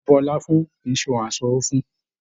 Bíbú ọlá fún kìí ṣe ohùn a n sanwó fún.